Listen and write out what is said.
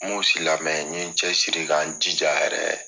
N mun si lamɛn, n ɲe n cɛ siri ka n jija yɛrɛɛ